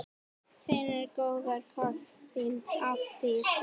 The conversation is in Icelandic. Sendi góðan koss, þín Ástdís.